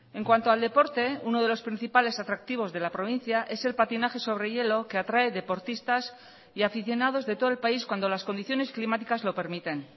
en cuanto al deporte uno de los principales atractivos de la provincia es el patinaje sobre hielo que atrae deportistas y aficionados de todo el país cuando las condiciones climáticas lo permiten